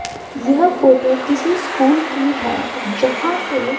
यह फोटो किसी स्कूल की है जहां पे--